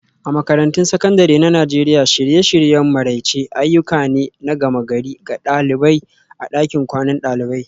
A Makarantun Sakandare na Najeriya, shirye-shiryen maraice ayyuka ne na gama-gari ga ɗalibai a ɗakin kwanan dalibai